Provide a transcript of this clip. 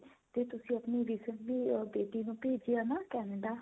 ਤੇ ਤੁਸੀਂ ਆਪਣੀ recently ਬੇਟੀ ਨੂੰ ਭੇਜਿਆ ਨਾ Canada